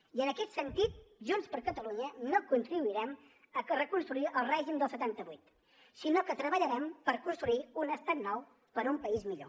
i en aquest sentit junts per catalunya no contribuirem a reconstruir el règim del setanta vuit sinó que treballarem per construir un estat nou per a un país millor